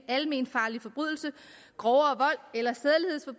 almenfarlig forbrydelse grovere